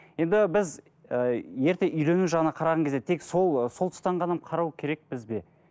енді біз ы ерте үйлену жағынан қараған кезде тек сол ы сол тұстан ғана қарау керекпіз бе